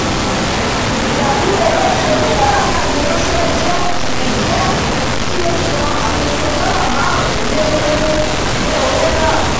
ìdádúró owó tí oníbàárà náà fi ránsẹ́ jẹ́ kí jẹ́ kí ó san àfikún dọ́la márùn- lẹ́- lógún lé owó náà